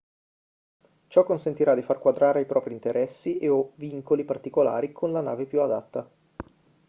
ciò consentirà di far quadrare i propri interessi e/o vincoli particolari con la nave più adatta